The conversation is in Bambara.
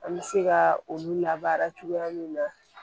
An bɛ se ka olu labaara cogoya min na